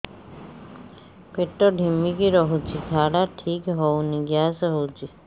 ପେଟ ଢିମିକି ରହୁଛି ଝାଡା ଠିକ୍ ହଉନି ଗ୍ୟାସ ହଉଚି